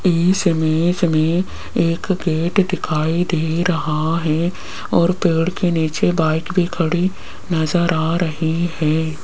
इस इमेज में एक गेट दिखाई दे रहा है और पेड़ के नीचे बाइक भी खड़ी नजर आ रही है।